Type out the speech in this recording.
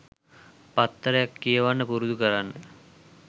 පත්තරයක් කියවන්න පුරුදු කරන්න